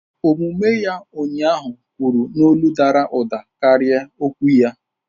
Omume ya ụnyaahụ kwuru n'olu dara ụda karịa okwu ya.